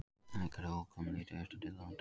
Hægari og úrkomulítið austantil á landinu